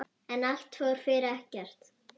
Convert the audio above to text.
En allt fór fyrir ekkert.